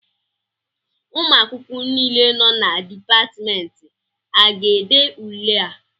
Ụmụ akwụkwọ niile nọ na Dipatmentị a ga-ede ule a?